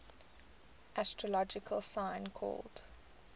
astrological sign called